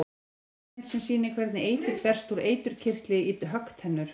Skýringarmynd sem sýnir hvernig eitur berst úr eiturkirtli í höggtennur.